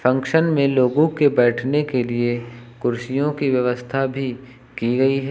Function में लोगों के बैठने के लिए कुर्सियों की व्यवस्था भी की गई है।